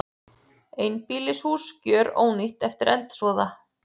Einbýlishús gjörónýtt eftir eldsvoða